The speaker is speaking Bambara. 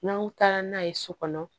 N'an taara n'a ye so kɔnɔ